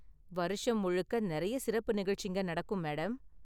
வருஷம் முழுக்க நெறைய சிறப்பு நிகழ்ச்சிங்க நடக்கும், மேடம்.